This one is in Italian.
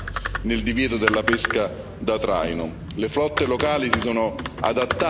Occorre la giusta flessibilità nel divieto della pesca da traino.